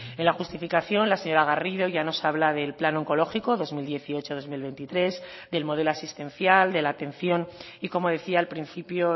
en la justificación la señora garrido ya nos habla del plan oncológico dos mil dieciocho dos mil veintitrés del modelo asistencial de la atención y como decía al principio